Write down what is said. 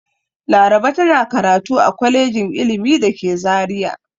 Laraba tana karatu a kwalejin ilimi da ke Zariya.